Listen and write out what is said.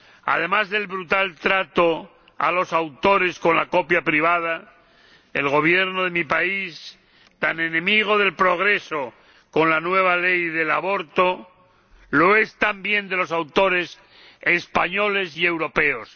Además del brutal trato a los autores con la copia privada, el Gobierno de mi país, tan enemigo del progreso con la nueva ley del aborto, lo es también de los autores españoles y europeos.